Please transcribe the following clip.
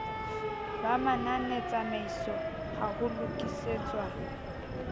ba mananetsamaiso ha ho lokisetswa